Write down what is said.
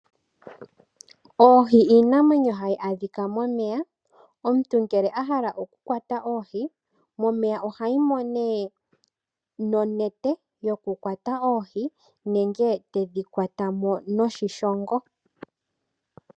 Oohi iinamwenyo hayi adhika momeya omuntu ngele a hala oku kwata oohi momeya oha yimo nonete yoku kwata oohi nenge tedhi kwata mo noshi shongo.